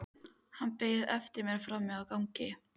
Hann beið eftir mér frammi á gangi.